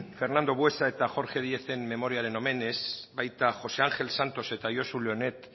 fernando buesa eta jorge diez memoriaren omenez baita josé ángel santos eta josu leonet